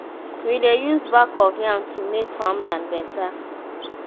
dem roast dey maize for house